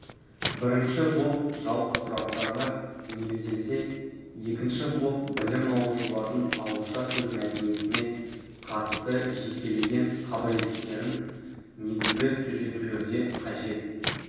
бірінші блок жалпы сұрақтарға негізделсе екінші блок білім алушылардың ауызша сөз мәдениетіне қатысты жекелеген қабілеттерін негізгі түзетулерді қажет